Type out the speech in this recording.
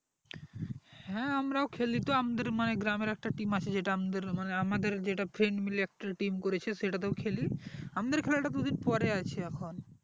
হ্যাঁ আমরাও খালিতো আমাদের মানে গ্রামের একটা team আছে যেটা আমাদের মানে আমাদের যেটা friend মিলে যে একটা team করেছে সেটা তেও একটা team করেছি আমাদের খেলা টা দুদিন পরে আছে এখন